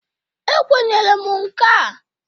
Ekwenyere m nka a.